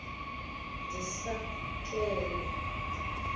ndisa ke loo